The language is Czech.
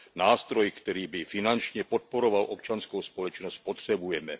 Nástroj, který by finančně podporoval občanskou společnost, potřebujeme.